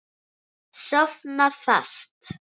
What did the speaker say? Sofna fast.